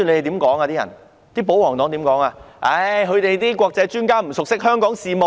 他們說那些國際專家不熟悉香港事務。